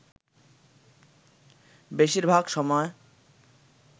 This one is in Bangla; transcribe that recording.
বেশির ভাগ সময়